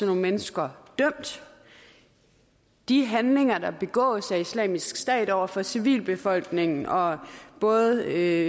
nogle mennesker dømt de handlinger der begås af islamisk stat over for civilbefolkningen og både